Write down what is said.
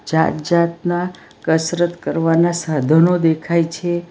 જાત જાતના કસરત કરવાના સાધનો દેખાય છે.